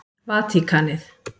Vatíkanið